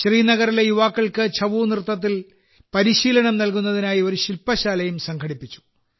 ശ്രീനഗറിലെ യുവാക്കൾക്ക് ഛഊ നൃത്തത്തിൽ പരിശീലനം നൽകുന്നതിനായി ഒരു ശിൽപശാലയും സംഘടിപ്പിച്ചു